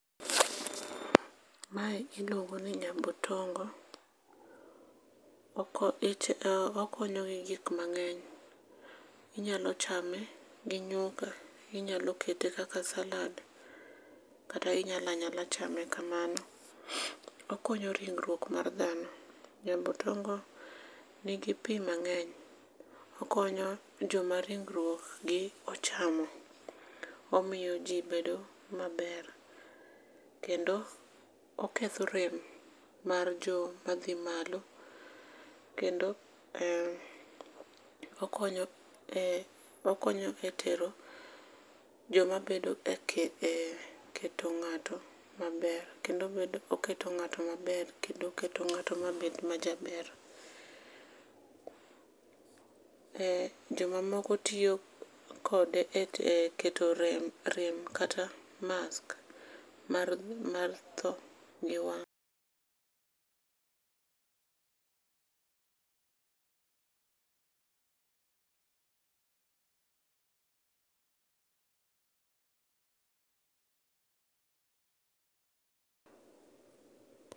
Mae iluongoni nyambotombo. Oko ich, okonyo gi gik mang'eny. Inyalo chame gi nyuka, inyalokete kaka salad kata inyalanyala chame kamano. Okonyo ringruok mar dhano. Nyambotombo nigi pii mang'eny. Okonyo joma ringruokgi ochano. Omiyo jii bedo maber kendo oketho rem mar joma dhi malo. Kendo eee okonyo e tero jomabedo e keto ng'ato maber. Kendo omedo, oketo ng'ato maber, kendo oketo ng'ato mabed majaber. Jomamoko tiyo kode e keto rem kata keto mask mar tho gi wang'.